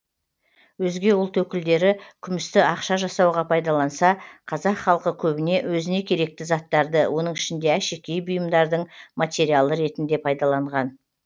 өзге ұлт өкілдері күмісті ақша жасауға пайдаланса қазақ халқы көбіне өзіне керекті заттарды оның ішінде әшекей бұйымдардың материалы ретінде пайдаланған